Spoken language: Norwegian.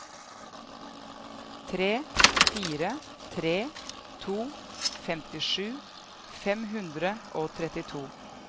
tre fire tre to femtisju fem hundre og trettito